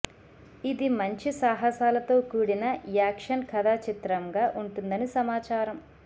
ఇది మంచి సాహసాలతో కూడిన యాక్షన్ కథా చిత్రంగా ఉంటుందని సమాచారం